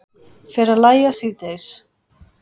Fer að lægja síðdegis